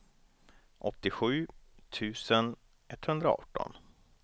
åttiosju tusen etthundraarton